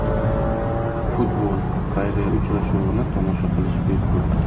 Futbol-xayriya uchrashuvini tomosha qilish bepul.